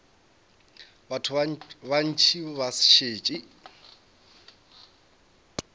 batho ba bantši ba šetše